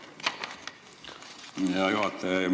Aitäh, hea juhataja!